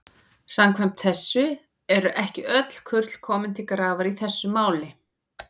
Samkvæmt þessu eru ekki öll kurl komin til grafar í þessu máli.